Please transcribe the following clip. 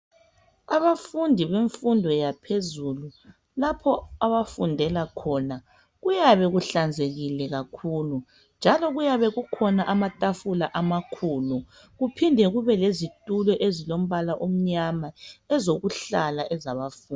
Abafundi bemfundo yaphezulu, lapho abafundela khona, kuyabe kuhlanzekile kakhulu, njalo kuyabe kukhona amatafula amakhulu kuphinde kube lezitulo ezilombala omnyama, ezokuhlala ezabafundi.